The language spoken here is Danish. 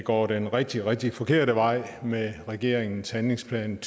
går den rigtig rigtig forkerte vej med regeringens handlingsplan